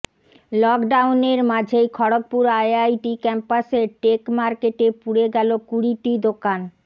lockdown এর মাঝেই Kharagpur IIT ক্যাম্পাসের টেক মার্কেটে পুড়ে গেল কুড়িটি দোকান